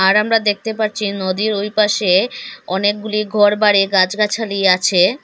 আর আমরা দেখতে পারছি নদীর ওই পাশে অনেকগুলি ঘরবাড়ি গাছগাছালি আছে।